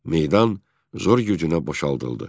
Meydan zor gücünə boşaldıldı.